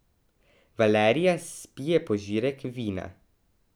Valerija spije požirek vina.